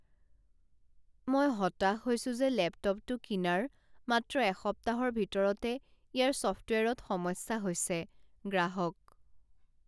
মই হতাশ হৈছো যে লেপটপটো কিনাৰ মাত্ৰ এসপ্তাহৰ ভিতৰতে ইয়াৰ ছফটৱেৰত সমস্যা হৈছে গ্ৰাহক